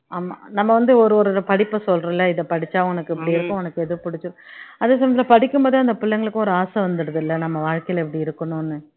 ஆமா நம்ம வந்து ஒரு ஒரு படிப்பை சொல்றோம்ல இதை படிச்சா உனக்கு இப்படி இருக்கும் உனக்கு எது பிடிச்சி அதே சமயத்துல படிக்கும் போதே அந்த பிள்ளைங்களுக்கு ஒரு ஆசை வந்துடுதுல்ல நம்ம வாழ்க்கையில இப்படி இருக்கணும்ன்னு